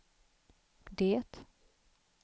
det